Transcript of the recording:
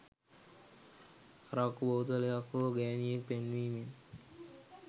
අරක්කු බෝතයලක් හෝ ගෑනියෙක් පෙන්නීමෙන්